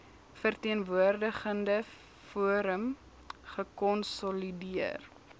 verteenwoordigende forum gekonsolideer